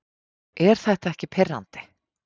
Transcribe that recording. Er þetta ekki pirrandi?